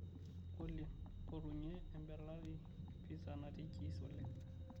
olly mpotunye embeletai e pizza natii cheese oleng